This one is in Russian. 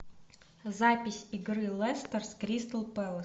запись игры лестер с кристал пэлас